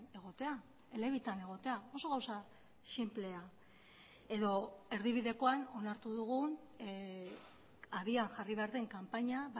egotea elebitan egotea oso gauza sinplea edo erdibidekoan onartu dugun abian jarri behar den kanpaina